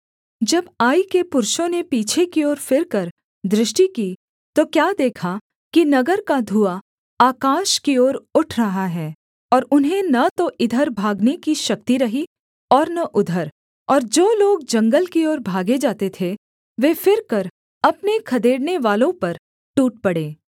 जब आई के पुरुषों ने पीछे की ओर फिरकर दृष्टि की तो क्या देखा कि नगर का धुआँ आकाश की ओर उठ रहा है और उन्हें न तो इधर भागने की शक्ति रही और न उधर और जो लोग जंगल की ओर भागे जाते थे वे फिरकर अपने खदेड़नेवालों पर टूट पड़े